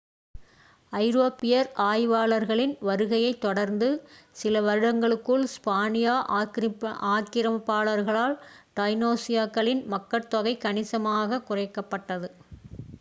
ஐரோப்பியர் ஆய்வாளர்களின் வருகையைத் தொடர்ந்து சில வருடங்களுக்குள் ஸ்பானிய ஆக்ரமிப்பாளர்களால் டைனோஸ்களின் மக்கட்தொகை கணிசமாக குறைக்கப்பட்டது